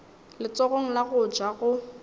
letsogong la go ja go